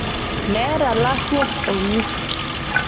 Meeta laruok olng'ur